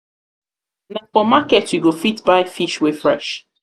for market you go fit buy fish wey fresh.